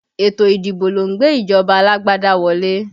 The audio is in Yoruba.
Ètò ìdìbò lọ ń gbé ìjọba alágbádá wọlé